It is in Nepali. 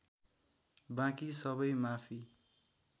बाँकी सबै माफी